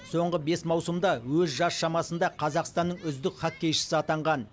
соңғы бес маусымда өз жас шамасында қазақстанның үздік хоккейшісі атанған